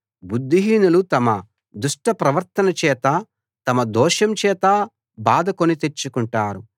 బుద్ధిహీనులు తమ దుష్టప్రవర్తన చేత తమ దోషం చేత బాధ కొనితెచ్చుకుంటారు